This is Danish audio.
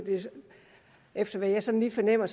efter hvad jeg sådan lige fornemmer